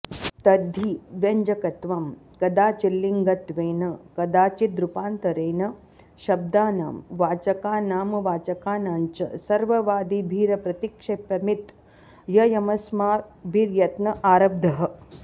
तद्धि व्यञ्जकत्वं कदाचिल्लिङ्गत्वेन कदाचिद्रूपान्तरेण शब्दानां वाचकानामवाचकानां च सर्ववादिभिरप्रतिक्षेप्यमित्ययमस्माभिर्यत्न आरब्धः